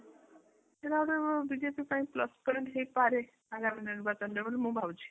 BJP ପାଇଁ plus point ହେଇପାରେ ଆଗାମୀ ନିର୍ବାଚନ ରେ ବୋଲି ମୁଁ ଭାବୁଛି ।